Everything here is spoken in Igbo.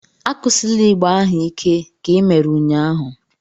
Akụsila ịgbà ahu ike ka i mere ụnyahụ!